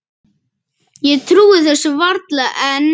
Ég trúi þessu varla enn.